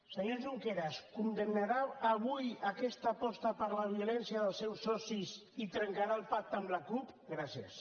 senyor junqueras condemnarà avui aquesta aposta per la violència dels seus socis i trencarà el pacte amb la cup gràcies